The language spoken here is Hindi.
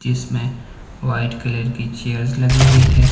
जिसमें वाइट कलर की चेयर्स लगी हुई है।